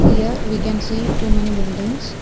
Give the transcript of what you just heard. here we can see too many buildings.